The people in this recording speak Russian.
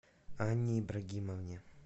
анне ибрагимовне